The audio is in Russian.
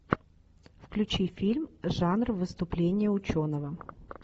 включи фильм жанр выступление ученого